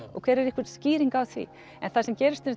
og er einhver skýring á því það sem gerist er